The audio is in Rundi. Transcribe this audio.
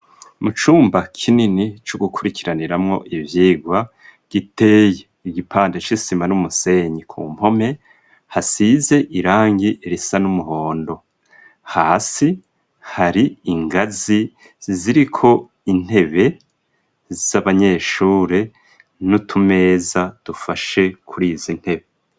Mu cumba kinini co gukurikiraniramwo ivyigwa giteye igipande c'isima n'umusenyi, ku mpome hasize irangi risa n'umuhondo ,hasi hari ingazi ziriko intebe z'abanyeshure n'utumeza dufashe kuri izi intebe.